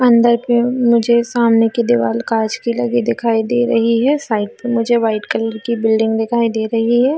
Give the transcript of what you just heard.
अंदर की मुझे सामने की दीवाल कांच की लगी दिखाई दे रही है साइड में मुझे वाइट कलर की बिल्डिंग दिखाई दे रही है।